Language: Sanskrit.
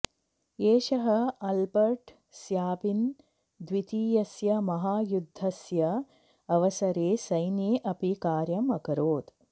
एषः आल्बर्ट् स्याबिन् द्वितीयस्य महायुद्धस्य अवसरे सैन्ये अपि कार्यम् अकरोत्